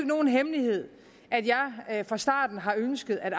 nogen hemmelighed at jeg fra starten har ønsket at